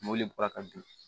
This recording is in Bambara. Mobili bɔra ka bin